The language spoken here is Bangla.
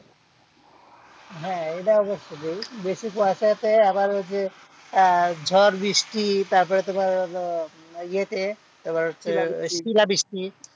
হ্যাঁ এটাও দেখতে হবে বেশি কুয়াশাতে আবার ওই যে আহ ঝড় বৃষ্টি তারপরে তোমার এতে তারপর শিলাবৃষ্টি,